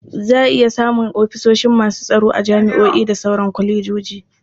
Za a iya samun ofishin masu tsaro a jami'a da sauran kwalejoji.